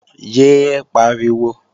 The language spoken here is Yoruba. Yé é pariwo!